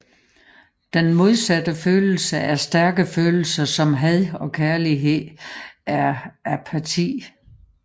Den modsatte følelse af stærke følelser som had og kærlighed er apati